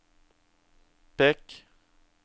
pek